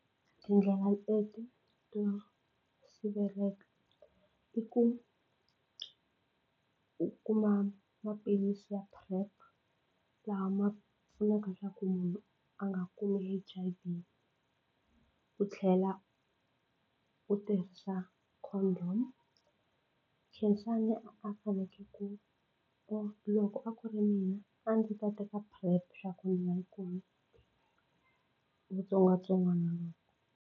Tindlela leti to sivelaka i ku u kuma maphilisi ya PrEP laha ma pfunaka leswaku munhu a nga kumi H_I_V u tlhela u tirhisa condom Khensani a faneke ku ku loko a ku ri mina a ndzi ta teka PrEP swa ku ni nga kumi xitsongwatsongwana lexi.